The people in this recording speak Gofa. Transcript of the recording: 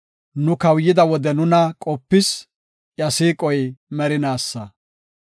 Nu kawuyida wode nuna qopis; iya siiqoy merinaasa.